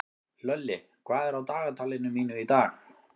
Hlölli, hvað er á dagatalinu mínu í dag?